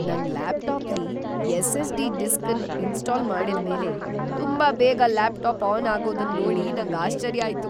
ನನ್ ಲ್ಯಾಪ್‌ಟಾಪ್‌ಲಿ SSD disk ಅನ್ ಇನ್ಸ್ಟಾಲ್ ಮಾಡಿದ್ ಮೇಲೆ ತುಂಬಾ ಬೇಗ ಲ್ಯಾಪ್‌ಟಾಪ್‌ ಆನ್ ಆಗೋದನ್ ನೋಡಿ ನಂಗ್ ಆಶ್ಚರ್ಯ ಆಯ್ತು.